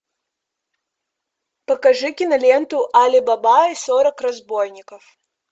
покажи киноленту али баба и сорок разбойников